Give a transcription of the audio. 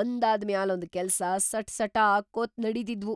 ಒಂದಾದ್ ಮ್ಯಾಲೊಂದ್ ಕೆಲ್ಸ ಸಟಾಸಟಾ ಆಕ್ಕೊತ್‌ ನಡದಿದ್ವು.